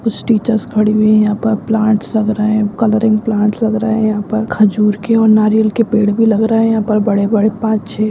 कुछ टीचर्स खड़े हुए हैं यहाँ पर प्लांट्स लग रहे हैं कलरिंग प्लांट्स लग रहे हैं यहाँ पर खजूर के और नारियल के पेड़ भी लग रहे हैं यहाँ पर बड़े-बड़े पांच छे।